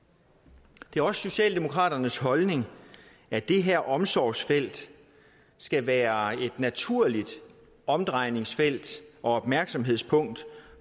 det er også socialdemokraternes holdning at det her omsorgsfelt skal være et naturligt omdrejningsfelt og opmærksomhedspunkt